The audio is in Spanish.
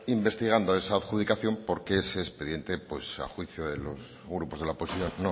investigando esa adjudicación porque ese expediente a juicio de los grupos de la oposición